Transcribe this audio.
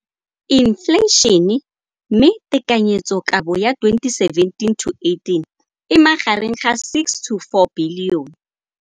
Infleišene, mme tekanyetsokabo ya 2017, 18, e magareng ga R6.4 bilione.